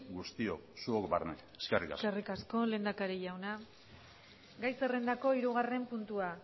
guztiok zuok barne eskerrik asko eskerrik asko lehendakari jauna gai zerrendako hirugarren puntua